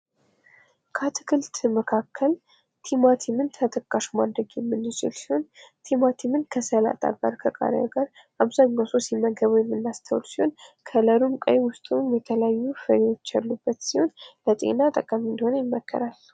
አትክልት መካከል ቲማቲምን ተጠቃሽ ማድረግ የምንችል ሲሆን ቲማቲም ከሰላጣ ጋር ከቃሪያ ጋር አብዛኛውን ሰው ሲመገበው የምናስተውል ሲሆን ከለሩም ቀይ ውስጡ የተለያዩ ፍሬዎች ያሉበት ሲሆን ለጤና ጠቃሚ እንደሆነ ይመከራል።